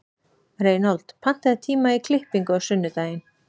Reinhold, pantaðu tíma í klippingu á sunnudaginn.